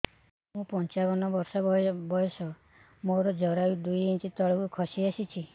ମୁଁ ପଞ୍ଚାବନ ବର୍ଷ ବୟସ ମୋର ଜରାୟୁ ଦୁଇ ଇଞ୍ଚ ତଳକୁ ଖସି ଆସିଛି